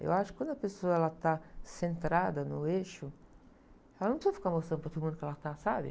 Eu acho que quando a pessoa, ela, está centrada no eixo, ela não precisa ficar mostrando para todo mundo que ela está, sabe?